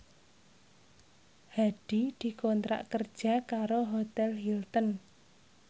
Hadi dikontrak kerja karo Hotel Hilton